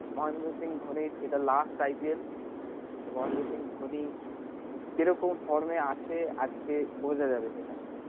মহেন্দ্র সিং ধোনির এটা last IPL Mahendra Singh Dhoni কে রকম form এ আছে আজকে বোঝা যাবে সেটা